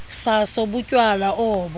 saso butywala obo